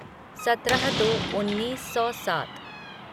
सत्रह दो उन्नीस सौ सात